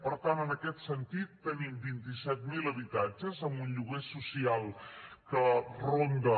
per tant en aquest sentit tenim vint iset mil habitatges amb un lloguer social que ronda